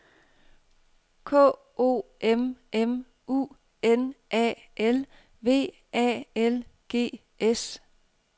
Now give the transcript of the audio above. K O M M U N A L V A L G S